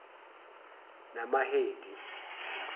namahedi